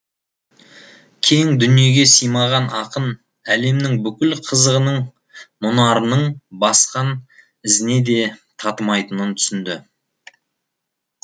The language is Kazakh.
кең дүниеге симаған ақын әлемнің бүкіл қызығының мұнарының басқан ізіне де татымайтынын түсінді